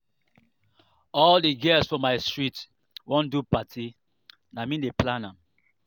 all di girls for my street wan do party na me dey plan am.